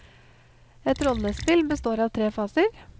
Et rollespill består av tre faser.